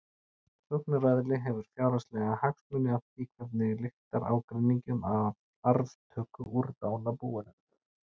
Sóknaraðili hefur fjárhagslega hagsmuni af því hvernig lyktar ágreiningi um arftöku úr dánarbúinu.